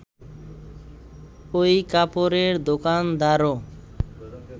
ওই কাপড়ের দোকানদারও